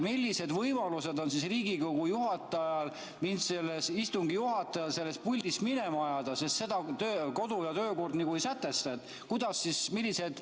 Millised võimalused on Riigikogu istungi juhatajal mind sellest puldist minema ajada, sest seda kodu‑ ja töökord nagu ei sätesta?